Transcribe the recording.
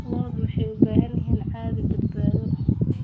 Lo'du waxay u baahan yihiin adhi badbaado.